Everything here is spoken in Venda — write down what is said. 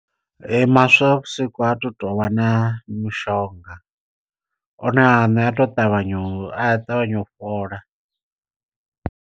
Maswavhusiku ha tu tovha na mishonga, one aṋe a tou ṱavhanya a ṱavhanya u fhola.